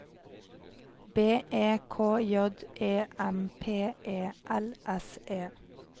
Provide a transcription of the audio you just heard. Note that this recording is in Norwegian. B E K J E M P E L S E